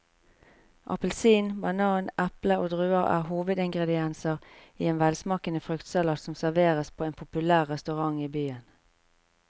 Appelsin, banan, eple og druer er hovedingredienser i en velsmakende fruktsalat som serveres på en populær restaurant i byen.